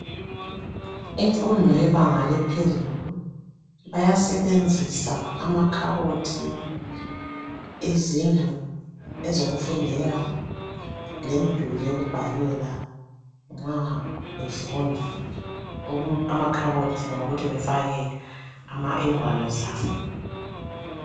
Imfundo yebanga laphezulu bayasebenzisa amakhabothi, izindlu ezokufundela, lemiduli yokubhalela nxa befunda amakhabothi ngawokuthi befakhe ingwalo zabo